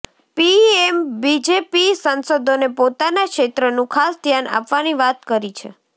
પીએમે BJP સાંસદોને પોતાના ક્ષેત્રનું ખાસ ધ્યાન આપવાની વાત કરી છે